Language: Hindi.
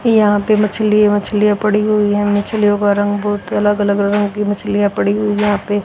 यहां पे मछली मछलीयां पड़ी हुई है मछलियों का रंग बहोत अलग अलग रंगों की मछलियां पड़ी हुई यहां पे--